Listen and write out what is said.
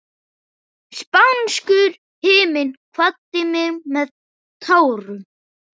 Spánskur himinn kvaddi mig með tárum.